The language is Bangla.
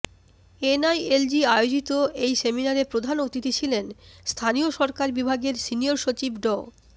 এনআইএলজি আয়োজিত এই সেমিনারে প্রধান অতিথি ছিলেন স্থানীয় সরকার বিভাগের সিনিয়র সচিব ড